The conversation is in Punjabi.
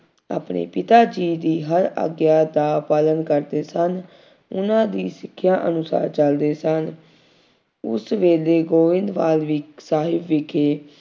ਆਪਣੇ ਪਿਤਾ ਜੀ ਦੀ ਹਰ ਆਗਿਆ ਦਾ ਪਾਲਣ ਕਰਦੇ ਸਨ। ਉਹਨਾ ਦੀ ਸਿੱਖਿਆ ਅਨੁਸਾਰ ਚੱਲਦੇ ਸਨ। ਉਸ ਵੇਲੇ ਗੋਇੰਦਵਾਲ ਵਿ ਸਾਹਿਬ ਵਿਖੇ